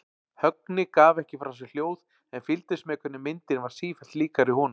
Högni gaf ekki frá sér hljóð en fylgdist með hvernig myndin varð sífellt líkari honum.